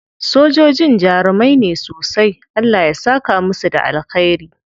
Sojojin jarumai ne sosai. Allah ya saka musu da alkhairi.